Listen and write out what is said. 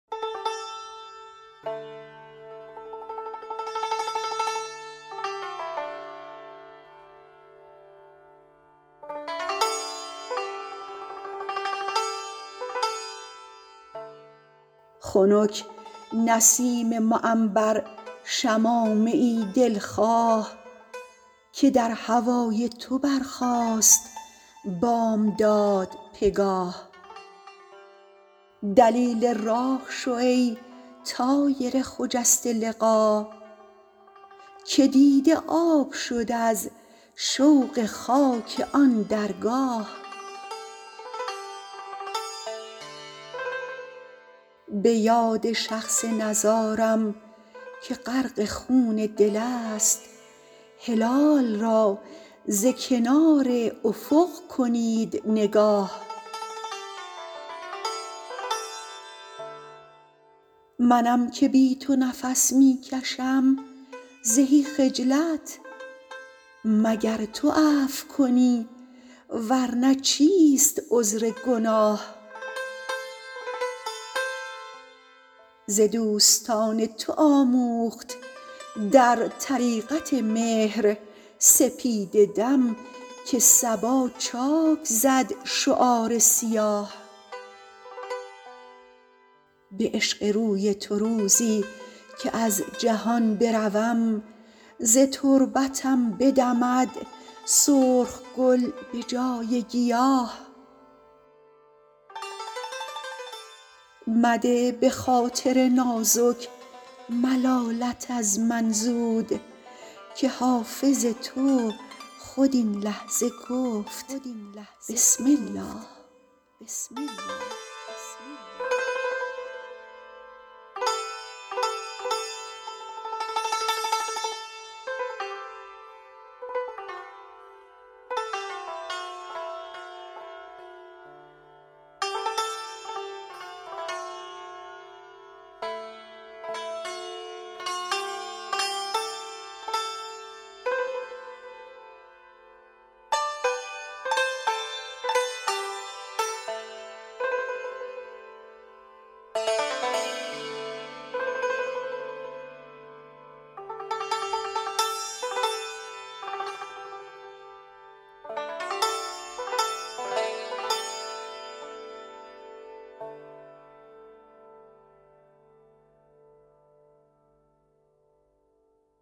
خنک نسیم معنبر شمامه ای دل خواه که در هوای تو برخاست بامداد پگاه دلیل راه شو ای طایر خجسته لقا که دیده آب شد از شوق خاک آن درگاه به یاد شخص نزارم که غرق خون دل است هلال را ز کنار افق کنید نگاه منم که بی تو نفس می کشم زهی خجلت مگر تو عفو کنی ور نه چیست عذر گناه ز دوستان تو آموخت در طریقت مهر سپیده دم که صبا چاک زد شعار سیاه به عشق روی تو روزی که از جهان بروم ز تربتم بدمد سرخ گل به جای گیاه مده به خاطر نازک ملالت از من زود که حافظ تو خود این لحظه گفت بسم الله